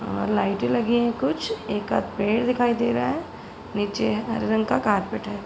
अ लाइटे लगी हैं कुछ एकाद पेड़ दिखाई दे रहा है। नीचे हरे रंग का कारपेट है।